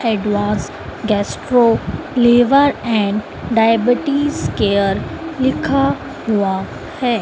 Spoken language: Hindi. Advance gastro liver and diabetes care लिखा हुआ है।